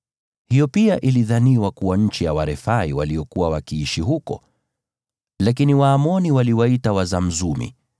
(Hiyo pia ilidhaniwa kuwa nchi ya Warefai waliokuwa wakiishi huko, lakini Waamoni waliwaita Wazamzumi.